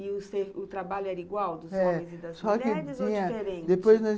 E o trabalho era igual, dos homens e das mulheres, ou diferente?